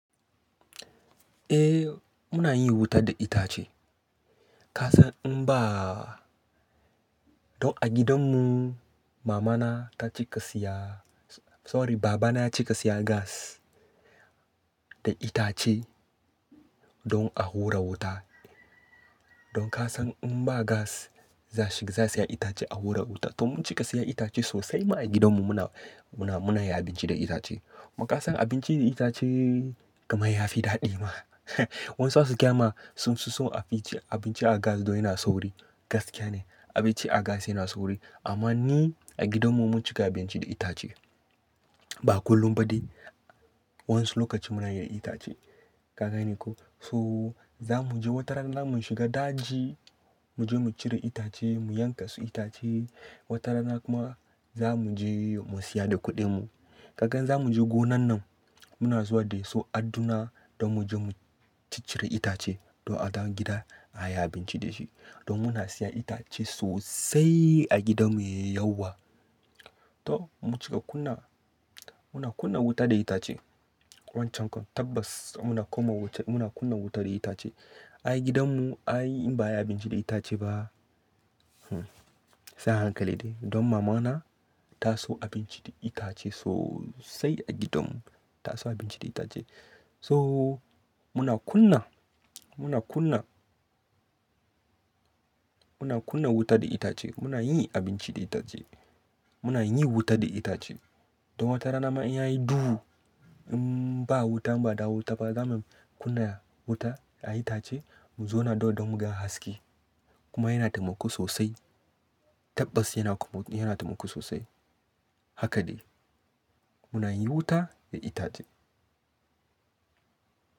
Eh muna yin wuta da itace. Ka san in ba, to a gidanmu mama na ta cika siya-- sorry, baba na ya cika siya gas da itace don a hura wuta. Don ka san in ba gas za shiga, za'a saya itace a hura wuta. To mun cika siya itace sosai ma a gidanmu muna, muna, muna yin abinci da itace. Kuma kasan abinci da itace kaman yafi daɗi ma. Wasu za su gayama sun fi so abinci, abinci a gas don yana sauri. Gaskiya ne abinci a gas yana sauri. Amma ni a gidanmu mun cika abinci da itace. Ba kullum ba dai, wasu lokaci muna yin da itace. Ka gane ko? So za mu je wata rana za mu shiga daji, mu je mu cire itace, mu yanka su itace. Wata rana kuma za mu je mu siya da kuɗinmu. Kagan in za mu je gonan nan muna zuwa da su adduna don mu je mu ciccire itace don a zo gida a yi abinci da shi. Don muna siya itace sosai a gidanmu yauwa. To mun cika kunna, muna kunna wuta da itace. Wancan tabbas muna komawa wuta, muna kunna wuta da itace. A gidanmu ayi in ba ayi abinci da itace ba, hmm sai hankali dai. Don mama na ta so abinci da itace sosai a gidanmu. Ta so abinci da itace. So muna kunna, muna kunna, muna kunna wuta da itace. Muna yin abinci da itace. Muna yin wuta da itace. Don wata rana ma in yayi duhu in ba wuta in ba da wuta ba, za mu kunna wuta a itace mu zauna don mu ga haske. Kuma yana taimako sosai. Tabbas yana kum, yana taimako sosai. Haka ne. Muna yin wuta da itace.